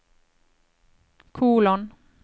kolon